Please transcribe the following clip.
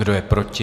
Kdo je proti?